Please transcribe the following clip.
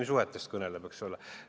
Inimsuhetest kõneleb, eks ole.